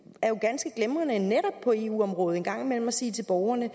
er jo ganske glimrende netop på eu området en gang imellem at sige til borgerne